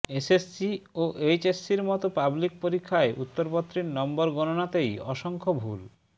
SSC ও এইচএসসির মতো পাবলিক পরীক্ষায় উত্তরপত্রের নম্বর গণনাতেই অসংখ্য ভুল